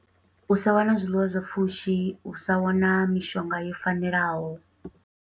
U sa wana zwiḽiwa zwa pfushi, u sa wana mishonga yo fanelaho.